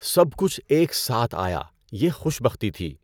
سب کچھ ایک ساتھ آیا، یہ خوش بختی تھی۔